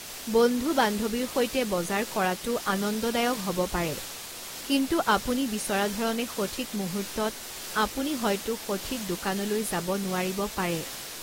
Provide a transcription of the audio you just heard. বন্ধু-বান্ধৱীৰ সৈতে বজাৰ কৰাটো আনন্দদায়ক হ'ব পাৰে কিন্তু আপুনি বিচৰা ধৰণে সঠিক মুহূৰ্তত আপুনি হয়তো সঠিক দোকানলৈ যাব নোৱাৰিব পাৰে।